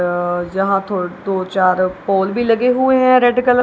अ जहा थो दो चार पोल भी लगे हुए हैं रेड कल--